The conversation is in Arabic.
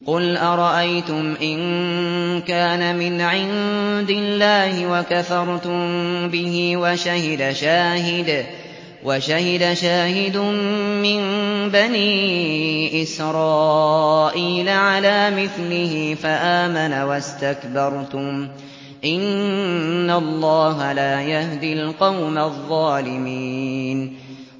قُلْ أَرَأَيْتُمْ إِن كَانَ مِنْ عِندِ اللَّهِ وَكَفَرْتُم بِهِ وَشَهِدَ شَاهِدٌ مِّن بَنِي إِسْرَائِيلَ عَلَىٰ مِثْلِهِ فَآمَنَ وَاسْتَكْبَرْتُمْ ۖ إِنَّ اللَّهَ لَا يَهْدِي الْقَوْمَ الظَّالِمِينَ